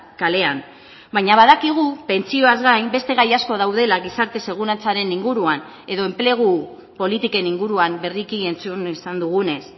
kalean baina badakigu pentsioaz gain beste gai asko daudela gizarte segurantzaren inguruan edo enplegu politiken inguruan berriki entzun izan dugunez